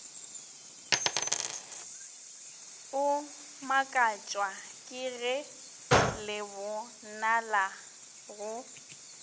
o makatšwa kege lebonala go